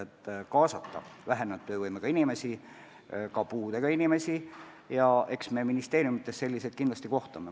Eesmärk on kaasata vähenenud töövõimega inimesi, ka puudega inimesi, ja eks me ministeeriumites selliseid inimesi kindlasti ka näeme.